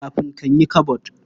Kafin kan yi kabod.